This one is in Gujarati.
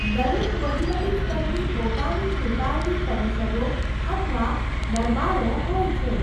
દરેક વહીવટી સ્તરની પોતાની ચૂંટાયેલી પરિષદો અથવા દરબારો હોય છે.